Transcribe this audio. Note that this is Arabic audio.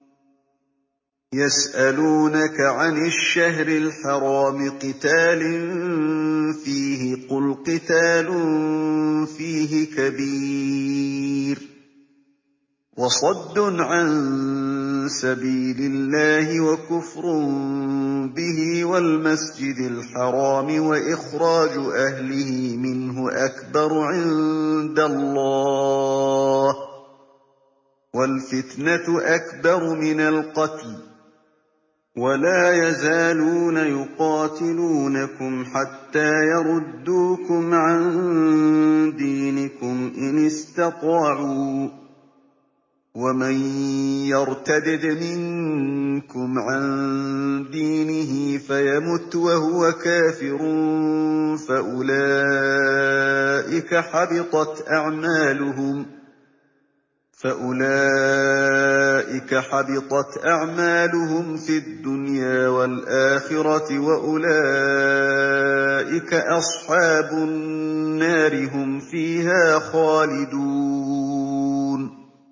يَسْأَلُونَكَ عَنِ الشَّهْرِ الْحَرَامِ قِتَالٍ فِيهِ ۖ قُلْ قِتَالٌ فِيهِ كَبِيرٌ ۖ وَصَدٌّ عَن سَبِيلِ اللَّهِ وَكُفْرٌ بِهِ وَالْمَسْجِدِ الْحَرَامِ وَإِخْرَاجُ أَهْلِهِ مِنْهُ أَكْبَرُ عِندَ اللَّهِ ۚ وَالْفِتْنَةُ أَكْبَرُ مِنَ الْقَتْلِ ۗ وَلَا يَزَالُونَ يُقَاتِلُونَكُمْ حَتَّىٰ يَرُدُّوكُمْ عَن دِينِكُمْ إِنِ اسْتَطَاعُوا ۚ وَمَن يَرْتَدِدْ مِنكُمْ عَن دِينِهِ فَيَمُتْ وَهُوَ كَافِرٌ فَأُولَٰئِكَ حَبِطَتْ أَعْمَالُهُمْ فِي الدُّنْيَا وَالْآخِرَةِ ۖ وَأُولَٰئِكَ أَصْحَابُ النَّارِ ۖ هُمْ فِيهَا خَالِدُونَ